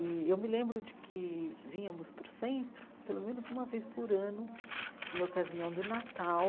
E eu me lembro de que vínhamos para o centro pelo menos uma vez por ano, em ocasião do Natal.